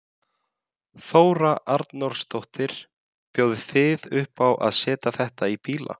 Þóra Arnórsdóttir: Bjóðið þið upp á að setja þetta í bíla?